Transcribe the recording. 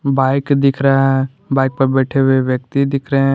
Bike दिख रहा है बाइक पे बैठे हुए व्यक्ति दिख रहे हैं।